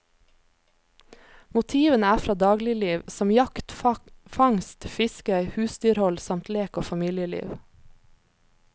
Motivene er fra dagligliv som jakt, fangst, fiske, husdyrhold samt lek og familieliv.